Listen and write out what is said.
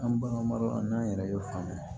An baganmaraw an n'an yɛrɛ ye faamuya